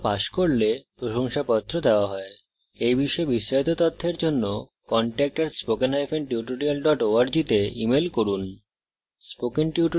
online পরীক্ষা pass করলে প্রশংসাপত্র দেওয়া হয় at বিষয়ে বিস্তারিত তথ্যের জন্য contact @spokentutorial org তে ইমেল করুন